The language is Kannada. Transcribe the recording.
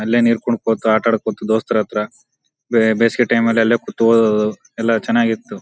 ಅಲ್ಲೇ ನೀರ್ ಕುಣಕೋತ ಆಟ ಆಡ್ಕೋತ ದೋಸ್ತ್ರ ಹತ್ರ ಬಿ ಬೇಸಿಗೆ ಟೈಮ್ ಲ್ಲಿ ಅಲ್ಲೇ ಕೂತು ಓದೋದು ಎಲ್ಲ ಚೆನ್ನಾಗಿತ್ತು .